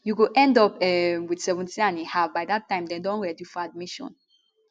you go end up um wit seventeenand a half by dat time dem don ready for admission